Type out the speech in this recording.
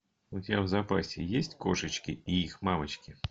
у тебя в запасе есть кошечки и их мамочки